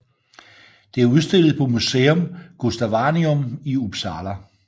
Det er udstillet på Museum Gustavianum i Uppsala